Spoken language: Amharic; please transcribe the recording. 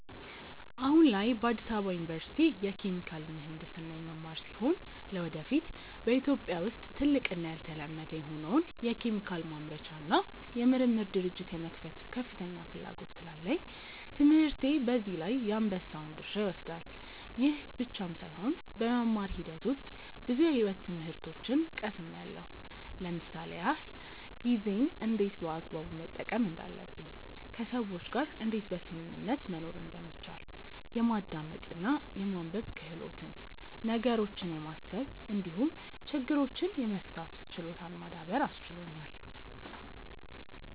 አሁን ላይ በአዲስ አበባ ዩኒቨርሲቲ የኬሚካል ምሕንድስና የምማር ሲሆን ለወደፊት በኢትዮጵያ ውስጥ ትልቅ እና ያልተለመደ የሆነውን የኬሚካል ማምረቻ እና የምርምር ድርጅት የመክፈት ከፍተኛ ፍላጎት ስላለኝ ትምህርቴ በዚህ ላይ የአንበሳውን ድርሻ ይወስዳል። ይህ ብቻም ሳይሆን በመማር ሂደት ውስጥ ብዙ የሕይወት ትምህርቶችን ቀስምያለው ለምሳሌ ያክል፦ ጊዜን እንዴት በአግባቡ መጠቀም እንዳለብኝ፣ ከሰዎች ጋር እንዴት በስምምነት መኖር እንደሚቻል፣ የማዳመጥ እና የማንበብ ክህሎትን፣ ነገሮችን የማሰብ እንዲሁም ችግሮችን የመፍታት ችሎታን ማዳበር አስችሎኛል።